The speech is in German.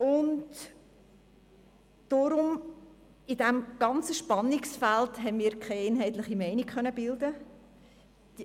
Angesichts dieses Spannungsfeldes haben wir in der Fraktion keine einheitliche Meinung bilden können.